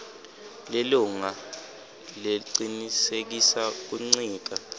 lilunga lecinisekisa kuncika